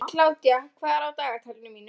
Kládía, hvað er á dagatalinu mínu í dag?